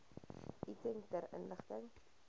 item ter inligting